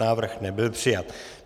Návrh nebyl přijat.